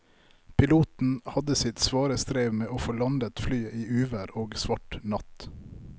Piloten hadde sitt svare strev med å få landet flyet i uvær og svart natt.